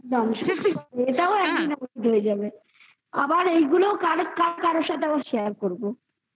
একদম এটাও একদিন অতীত হয়ে যাবে আবার এইগুলোও কারো কারোর সাথে share করব